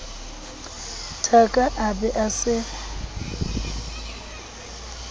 thaka a be a se